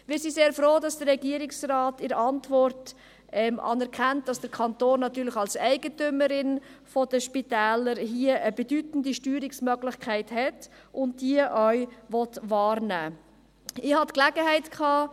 Wir sind sehr froh, dass der Regierungsrat in seiner Antwort anerkennt, dass der Kanton als Eigentümer der Spitäler eine bedeutende Steuerungsmöglichkeit hat und diese auch wahrnehmen will.